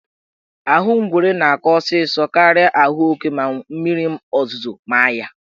Ahụ ngwere na-akọ ọsịsọ karịa ahụ oke ma mmiri ozuzo maa ya.